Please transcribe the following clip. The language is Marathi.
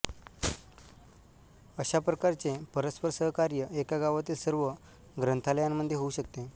अशा प्रकारचे परस्पर सहकार्य एका गावातील सर्व ग्रंथालयांमध्ये होऊ शकते